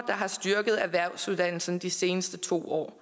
har styrket erhvervsuddannelsen de seneste to år